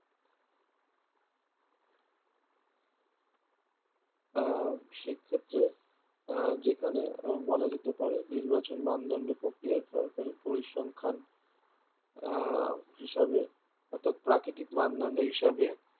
আহ সেক্ষেত্রে আহ যেখানে বলা যেতে পারে নির্বাচন বা অন্যান্য প্রক্রিয়ার সরকারি পরিসংখ্যান আহ হিসাবে অর্থাৎ প্রাকৃতিক মানদন্ড হিসাবে